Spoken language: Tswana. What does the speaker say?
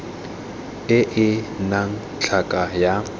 e e nnang tlhaka ya